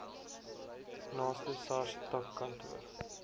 naaste sars takkantoor